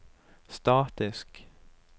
statisk